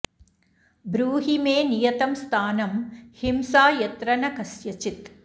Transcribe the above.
ब्रूहि मे नियतं स्थानं हिंसा यत्र न कस्यचित्